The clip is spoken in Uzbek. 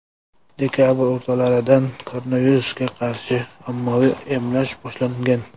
Dekabr o‘rtalaridan koronavirusga qarshi ommaviy emlash boshlangan.